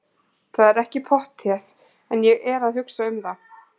Það er ekki pottþétt en ég er að hugsa um það.